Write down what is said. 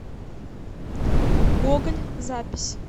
гоголь запись